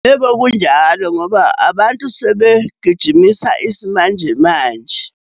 Yebo, kunjalo ngoba abantu sebegijimisa isimanjemanje.